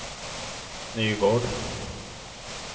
Nygård